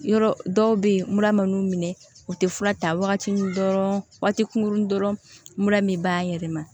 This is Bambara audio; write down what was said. Yɔrɔ dɔw bɛ yen mura man nuw minɛ u tɛ fura ta waati min dɔrɔn waati kunkurunin dɔrɔn mura min b'a yɛlɛma